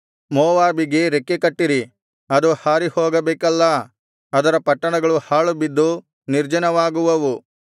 ಮೋವಾಬಿಗೆ ರೆಕ್ಕೆ ಕಟ್ಟಿರಿ ಅದು ಹಾರಿಹೋಗಬೇಕಲ್ಲಾ ಅದರ ಪಟ್ಟಣಗಳು ಹಾಳುಬಿದ್ದು ನಿರ್ಜನವಾಗುವವು